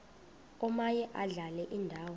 omaye adlale indawo